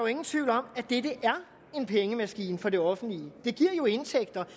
ingen tvivl om at dette er en pengemaskine for det offentlige det giver jo indtægter